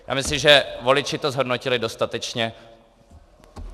A myslím, že voliči to zhodnotili dostatečně.